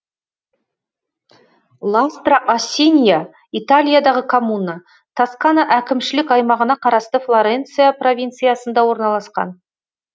ластра а синья италиядағы коммуна тоскана әкімшілік аймағына қарасты флоренция провинциясында орналасқан